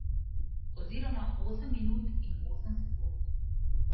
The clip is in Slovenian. Oziroma osem minut in osem sekund.